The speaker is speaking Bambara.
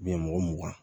mɔgɔ mugan